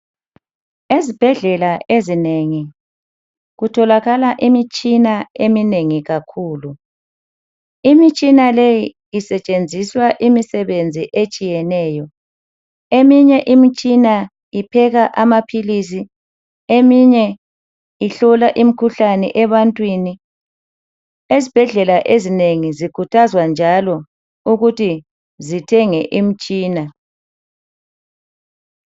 Ezibhedlela ezinengi kutholakala imitshina eminengi kakhulu. Imitshina leyi isetshenziswa imisebenzi etshiyeneyo .Eminye imitshina ipheka amaphilisi . Eminye ihlola imkhuhlane ebantwini . Izibhedlela ezinengi zikhuthazwa njalo ukuthi zithenge imtshina